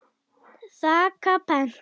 þakka pent.